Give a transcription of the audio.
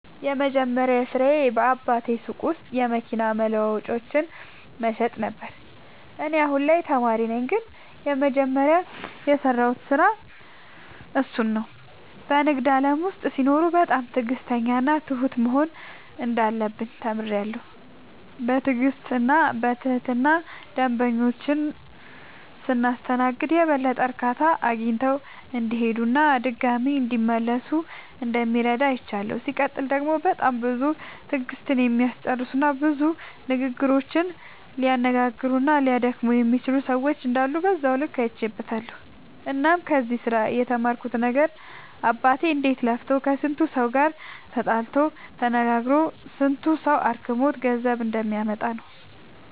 የመጀመሪያ ስራዬ በአባቴ ሱቅ ውስጥ የመኪና መለዋወጫዎችን መሸጥ ነበረ። እኔ አሁን ላይ ተማሪ ነኝ ግን የመጀመሪያ የሰራሁት ስራ እሱን ነው። በንግድ ዓለም ውስጥ ሲኖሩ በጣም ትዕግሥተኛና ትሁት መሆን እንዳለብን ተምሬያለሁ። በትዕግሥትና በትህትና ደንበኞቻችንን ስናስተናግድ የበለጠ እርካታ አግኝተው እንዲሄዱና ድጋሚም እንዲመለሱ እንደሚረዳ አይቻለሁ። ሲቀጥል ደግሞ በጣም ብዙ ትዕግሥትን የሚያስጨርሱና ብዙ ንግግሮችን ሊያነጋግሩና ሊያደክሙ የሚችሉ ሰዎች እንዳሉ በዛው ልክ አይቼበትበታለሁ። እናም ከዚህ ስራ የተማርኩት ነገር አባቴ እንዴት ለፍቶ ከስንቱ ሰው ጋር ተጣልቶ ተነጋግሮ ስንቱ ሰው አድክሞት ገንዘብ እንደሚያመጣ ነው።